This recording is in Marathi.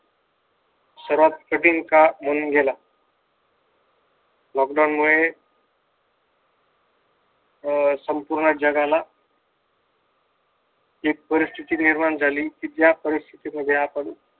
सर्वात कठीण काळ म्हणून गेला. लॉकडाउन मुळे अं संपूर्ण जगाला ती परिस्थिती निर्माण झाली त्या परिस्थिती मध्ये आपण